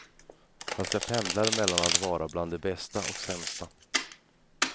Fast jag pendlar mellan att vara bland de bästa och sämsta.